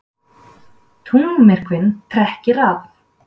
Tunglmyrkvinn trekkir að